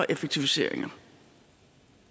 effektiviseringer